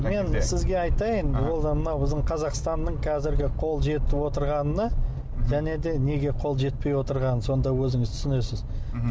мен сізге айтайын ол да мынау біздің қазақстанның қазіргі қол жетіп отырғаны және де неге қол жетпей отырғаны сонда өзіңіз түсінесіз мхм